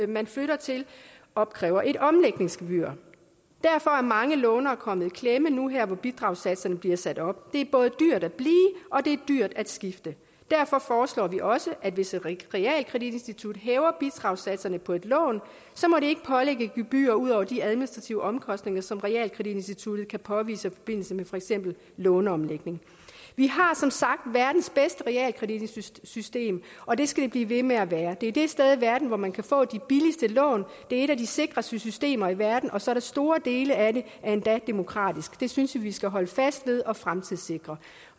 man flytter til opkræver et omlægningsgebyr derfor er mange lånere kommet i klemme nu her hvor bidragssatserne bliver sat op det er både dyrt at blive og det er dyrt at skifte derfor foreslår vi også at hvis et realkreditinstitut hæver bidragssatserne på et lån så må det ikke pålægge gebyrer ud over de administrative omkostninger som realkreditinstituttet kan påvise i forbindelse med for eksempel låneomlægning vi har som sagt verdens bedste realkreditsystem og det skal det blive ved med at være det er det sted i verden hvor man kan få de billigste lån det er et af de sikreste systemer i verden og så er store dele af det endda demokratisk det synes vi vi skal holde fast ved og fremtidssikre